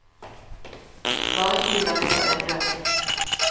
Bare hiv den ut av vinduet.